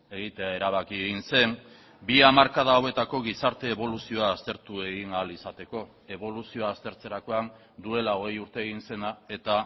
egitea erabaki egin zen bi hamarkada hauetako gizarte eboluzioa aztertu egin ahal izateko eboluzioa aztertzerakoan duela hogei urte egin zena eta